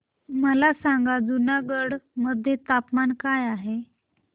मला सांगा जुनागढ मध्ये तापमान काय आहे